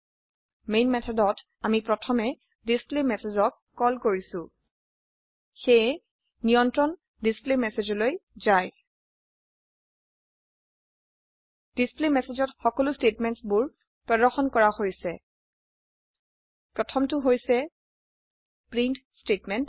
main method আমি প্ৰথমে displayMessageক কল কৰিম সেয়ে নিয়ন্ত্ৰণ ডিছপ্লেমেছেজ লৈ যায় ডিছপ্লেমেছেজ ত সকলো ষ্টেটমেণ্টছ বোৰ প্্ৰ্দশন কৰা হৈছে প্ৰথম টো হৈছে প্ৰিণ্ট ষ্টেটমেণ্ট